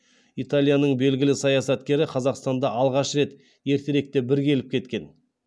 италияның белгілі саясаткері қазақстанда алғаш рет ертеректе бір келіп кеткен